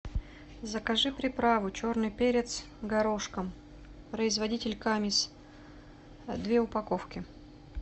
закажи приправу черный перец горошком производитель камис две упаковки